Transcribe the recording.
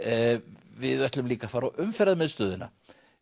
við ætlum líka að fara á Umferðarmiðstöðina